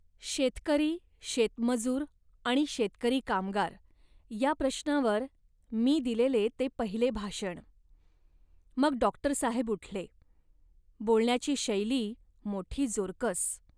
शेतकरी, शेतमजूर आणि शेतकरीकामगार या प्रश्नावर मी दिलेले ते पहिले भाषण. मग डॉक्टरसाहेब उठले, बोलण्याची शैली मोठी जोरकस